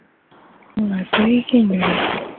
না তুই কিনবি ।